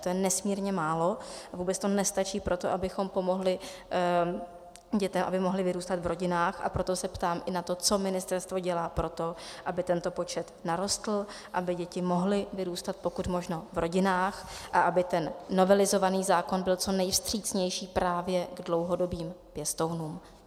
To je nesmírně málo a vůbec to nestačí pro to, abychom pomohli dětem, aby mohly vyrůstat v rodinách, a proto se ptám i na to, co ministerstvo dělá pro to, aby tento počet narostl, aby děti mohly vyrůstat pokud možno v rodinách a aby ten novelizovaný zákon byl co nejvstřícnější právě k dlouhodobým pěstounům.